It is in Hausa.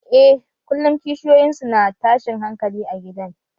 Eh, kullum kishiyoyin su na tashin hankali a gidan